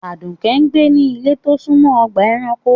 Aduke ń gbé ní ilé tó súnmọ́ ọgbà-ẹranko.